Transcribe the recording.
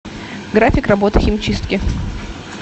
график работы химчистки